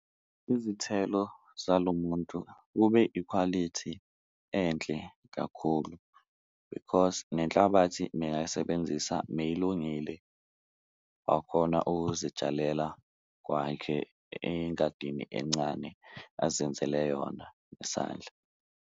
Izithelo zalo muntu kube ikhwalithi enhle kakhulu because nenhlabathi mengayisebenzisa meyilungile wakhona ukuzitshalela kwakhe engadini encane azenzele yona ngesandla.